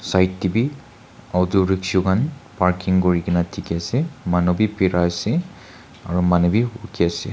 side teh be auto rickshaw khan parking kuri ke na dikhi ase manu be bera se aru manu be rukhi ase.